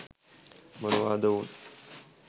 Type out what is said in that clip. මොනවාද ඔවුන්